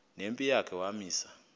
nempi yakhe wamisa